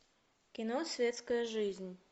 кино светская жизнь